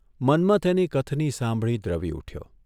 મન્મથ એની કથની સાંભળી દ્રવી ઊઠચો.